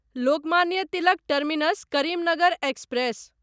Lokmanya Tilak terminus Karimnagar express